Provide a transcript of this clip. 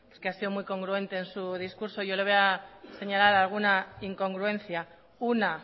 pues ha sido muy congruente en su discurso yo le voy señalar alguna incongruencia una